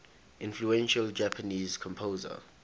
influential japanese composer